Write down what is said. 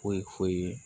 Foyi foyi foyi